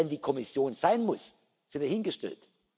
Ob dies dann die Kommission sein muss, sei dahingestellt.